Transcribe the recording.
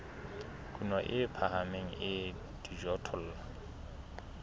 kuno e phahameng ya dijothollo